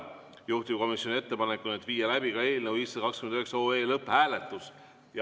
Juhtivkomisjoni ettepanek on viia läbi eelnõu 529 lõpphääletus.